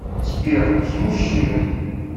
сбер с мужчиной